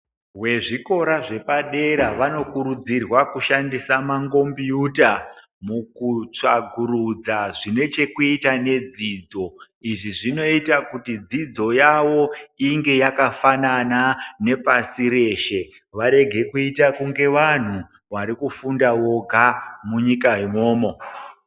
Wezvikora zvepadera vanokurudzirwa kushandisa mangombiyuta, mukutsvakurudza zvine chekuita nedzidzo. Izvi zvinoita kuti dzidzo yavo inge yakafanana nepasi reshe, warege kuita kunge wanhu wari kufunda woga munyika imwomwo.